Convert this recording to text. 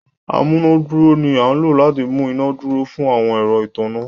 amunaduro ni a lò láti mú iná dúró fun àwọn ẹrọ ìtanná.